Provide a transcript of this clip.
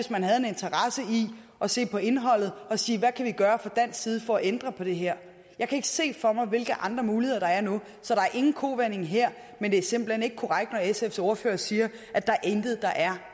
at se på indholdet og sige hvad kan vi gøre fra dansk side for at ændre på det her jeg kan ikke se for mig hvilke andre muligheder der er nu så der er ingen kovending her men det er simpelt hen ikke korrekt når sfs ordfører siger at der intet er der er